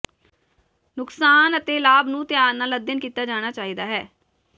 ਨੁਕਸਾਨ ਅਤੇ ਲਾਭ ਨੂੰ ਧਿਆਨ ਨਾਲ ਅਧਿਐਨ ਕੀਤਾ ਜਾਣਾ ਚਾਹੀਦਾ ਹੈ